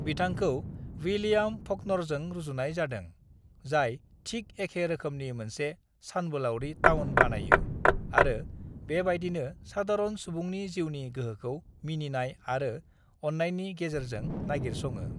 "बिथांखौ विलियाम फकनरजों रुजुनाय जादों, जाय थिक एखे रोखोमनि मोनसे सानबोलावरि टाउन बानायो आरो बेबायदिनो सादारन सुबुंनि जिउनि गोहोखौ मिनिनाय आरो अननायनि गेजेरजों नागिरसङो।"